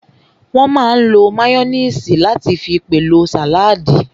Wọ́n máa n lo máyóníìsì láti fi pèlò sàládì